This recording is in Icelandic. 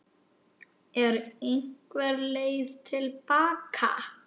Er einhver leið til baka?